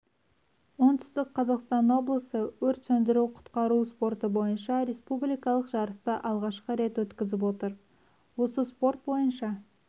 оңтүстік қазақстан облысы өрт сөндіру-құтқару спорты бойынша республикалық жарысты алғашқы рет өткізіп отыр осы спорт бойынша